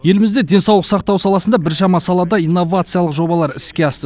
елімізде денсаулық сақтау саласында біршама салада инновациялық жобалар іске асты